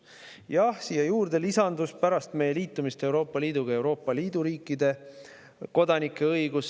Jah, sellele lisandus pärast Euroopa Liiduga liitumist Euroopa Liidu riikide kodanike õigus.